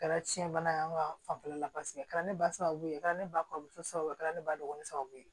Kɛra tiɲɛ bana ye an ka fanfɛla la paseke a kɛra ne ba sababu ye a kɛra ne ba kɔrɔmuso sababu ye a kɛra ne ba dɔgɔnin sababu ye